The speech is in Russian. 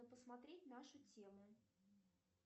посмотреть нашу тему